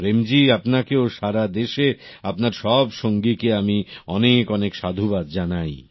প্রেম জী আপনাকে ও সারাদেশে আপনার সব সঙ্গীকে আমি অনেক অনেক সাধুবাদ জানাই